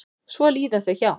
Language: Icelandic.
Svo líða þau hjá.